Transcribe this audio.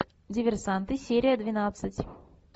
диверсанты серия двенадцать